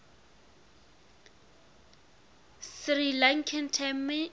sri lankan tamil